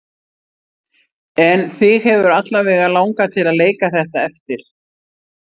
En þig hefur alla vega langað til að leika þetta eftir?